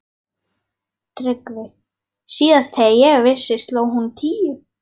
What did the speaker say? TRYGGVI: Síðast þegar ég vissi sló hún tíu.